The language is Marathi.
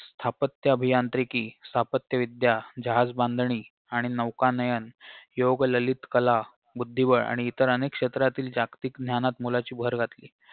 स्थापत्यअभियांत्रिकी स्थापत्यविद्या जहाजबांधणी आणि नौकानयन योगललितकला बुद्दीबळ आणि इतर अनेक क्षेत्रातील जागतिक ज्ञानात मोलाची भर घातली